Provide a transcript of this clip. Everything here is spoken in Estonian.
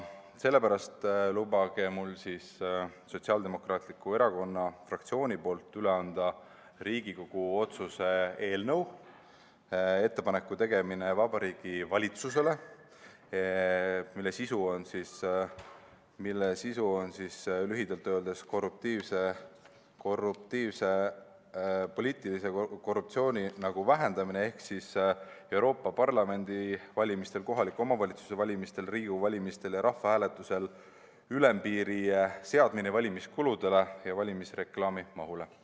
Sellepärast lubage mul Sotsiaaldemokraatliku Erakonna fraktsiooni nimel üle anda Riigikogu otsuse eelnõu "Ettepaneku tegemine Vabariigi Valitsusele", mille sisu on lühidalt öeldes poliitilise korruptsiooni vähendamine ehk Euroopa Parlamendi valimiste, kohaliku omavalitsuse valimiste, Riigikogu valimiste ja rahvahääletuse puhul ülempiiri seadmine valimiskuludele ja valimisreklaami mahule.